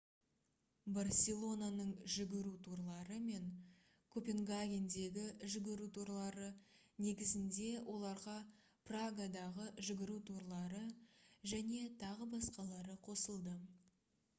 барселонаның «жүгіру турлары» мен копенгагендегі «жүгіру турлары» негізінде оларға прагадағы «жүгіру турлары» және т.б. қосылды